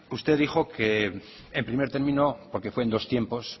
usted dijo que en primer término porque fue en dos tiempos